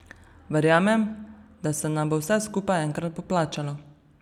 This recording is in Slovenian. Verjamem, da se nam bo vse skupaj enkrat poplačalo.